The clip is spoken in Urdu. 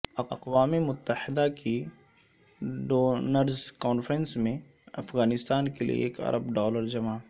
اقوام متحدہ کی ڈونرز کانفرنس میں افغانستان کیلئےایک ارب ڈالر جمع